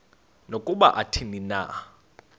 nokuba athini na